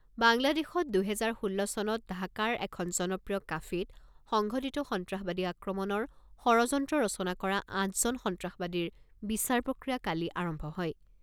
বাংলাদেশত, দুহেজাৰ ষোল্ল চনত ঢাকাৰ এখন জনপ্ৰিয় কাফেত সংঘটিত সন্ত্ৰাসবাদী আক্ৰমণৰ ষড়যন্ত্ৰ ৰচনা কৰা আঠজন সন্ত্ৰাসবাদীৰ বিচাৰ প্ৰক্ৰিয়া কালি আৰম্ভ হয়।